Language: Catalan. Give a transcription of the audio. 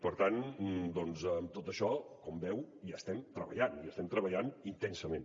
per tant amb tot això com veu hi estem treballant i hi estem treballant intensament